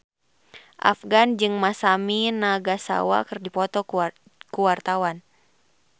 Afgan jeung Masami Nagasawa keur dipoto ku wartawan